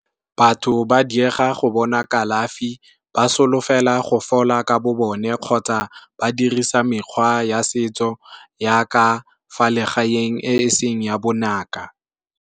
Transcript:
Batho ba diega go bona kalafi ba solofela go fola ka bo bone kgotsa, ba dirisa mekgwa ya setso yaka fa legaeng e seng ya bongaka.